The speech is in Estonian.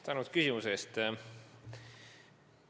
Tänan küsimuse eest!